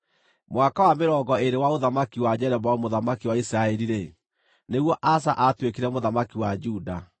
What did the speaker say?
Mwaka wa mĩrongo ĩĩrĩ wa ũthamaki wa Jeroboamu mũthamaki wa Isiraeli-rĩ, nĩguo Asa aatuĩkire mũthamaki wa Juda,